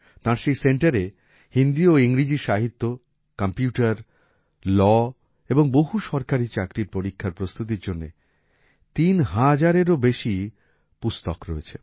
তাঁর সেই centreএ হিন্দি ও ইংরেজি সাহিত্য কম্পিউটার লাও এবং বহু সরকারি চাকরির পরীক্ষার প্রস্তুতির জন্য ৩০০০এরও বেশী পুস্তক রয়েছে